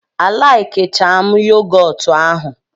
a laikicham yogotu ahụ.